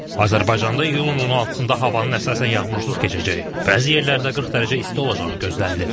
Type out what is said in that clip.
Azərbaycanda iyulun 16-da havanın əsasən yağmursuz keçəcəyi, bəzi yerlərdə 40 dərəcə isti olacağı gözlənilir.